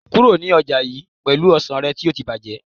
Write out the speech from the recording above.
kúrò ní ọjà yii pelu ọsàn rẹ ti o ti bajẹ